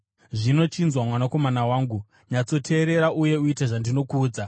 Zvino, chinzwa mwanakomana wangu, nyatsoteerera uye uite zvandinokuudza.